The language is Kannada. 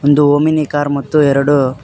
ಒಂದು ಓಮಿನಿ ಕಾರ್ ಮತ್ತು ಎರಡು--